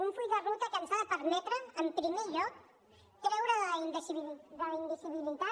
un full de ruta que ens ha de permetre en primer lloc treure de la invisibilitat